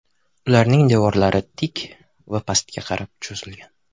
Ularning devorlari tik va pastga qarab cho‘zilgan.